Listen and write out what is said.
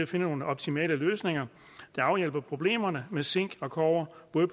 til nogle optimale løsninger der afhjælper problemerne med zink og kobber på